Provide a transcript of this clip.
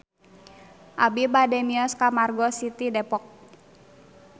Abi bade mios ka Margo City Depok